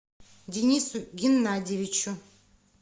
денису геннадьевичу